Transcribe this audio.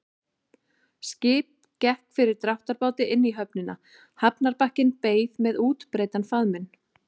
Skip gekk fyrir dráttarbáti inn á höfnina, hafnarbakkinn beið með útbreiddan faðminn.